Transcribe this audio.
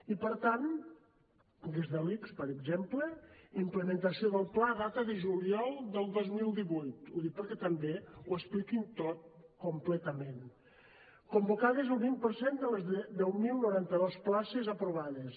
i per tant des de l’ics per exemple implementació del pla a data de juliol del dos mil divuit ho dic perquè també ho expliquin tot completament convocades el vint per cent de les deu mil noranta dos places aprovades